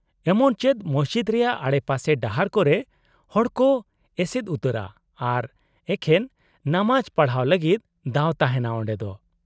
-ᱮᱢᱚᱱ ᱪᱮᱫ ᱢᱚᱥᱡᱤᱫ ᱨᱮᱭᱟᱜ ᱟᱰᱮᱯᱟᱥᱮ ᱰᱟᱦᱟᱨ ᱠᱚᱨᱮ ᱦᱚᱲᱠᱚ ᱮᱥᱮᱫ ᱩᱛᱟᱹᱨᱟ ᱟᱨ ᱮᱠᱷᱮᱱ ᱱᱟᱢᱟᱡ ᱯᱟᱲᱦᱟᱣ ᱞᱟᱹᱜᱤᱫ ᱫᱟᱣ ᱛᱟᱦᱮᱱᱟ ᱚᱸᱰᱮ ᱫᱚ ᱾